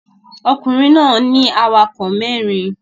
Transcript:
Ọkùnrin náà ní awakọ̀ mẹ́rin